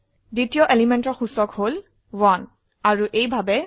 দ্বিতীয় এলিমেন্টৰ সূচক হল 1 আৰু এইভাবে